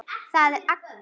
Það er Agnes.